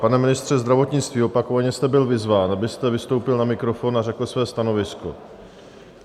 Pane ministře zdravotnictví, opakovaně jste byl vyzván, abyste vystoupil na mikrofon a řekl své stanovisko.